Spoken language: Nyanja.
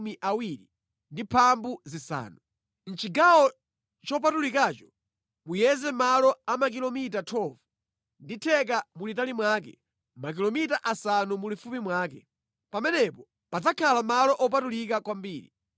Mʼchigawo chopatulikacho muyeze malo a makilomita 12 ndi theka mulitali mwake, makilomita asanu mulifupi mwake. Pamenepo padzakhala malo opatulika kwambiri.